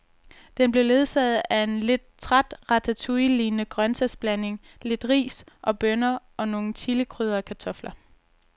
Den blev ledsaget af en lidt træt ratatouillelignende grøntsagsblanding, lidt ris og bønner og nogle chilikrydrede kartofler.